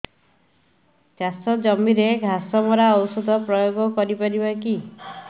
ଚାଷ ଜମିରେ ଘାସ ମରା ଔଷଧ ପ୍ରୟୋଗ କରି ପାରିବା କି